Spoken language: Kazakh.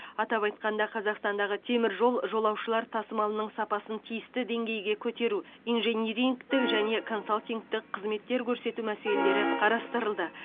атап айтқанда қазақстандағы теміржол жолаушылар тасымалының сапасын тиісті деңгейге көтеру инжинирингтік және консалтингтік қызметтер көрсету мәселелері қарастырылды